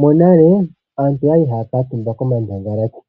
Monale aantu oyali haya katumba komandangalati